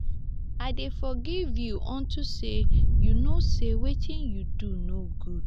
i dey forgive you unto say you know say wetin you do no good